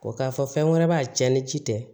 O k'a fɔ fɛn wɛrɛ b'a cɛn ni ci tɛ